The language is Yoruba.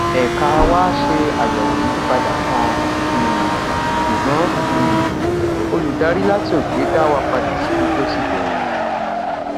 èka wá ṣe àyèwò ìyípadà kan um ṣùgbọn um olùdarí láti òkè dá wa padà síbi tó ti bèrè